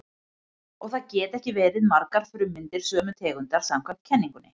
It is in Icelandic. Og það geta ekki verið margar frummyndir sömu tegundar samkvæmt kenningunni.